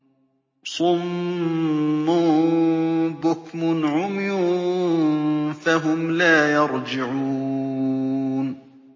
صُمٌّ بُكْمٌ عُمْيٌ فَهُمْ لَا يَرْجِعُونَ